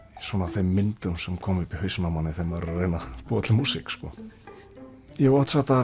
þeim myndum sem koma upp í hausnum á manni þegar maður er að reyna að búa til músík ég hef oft sagt það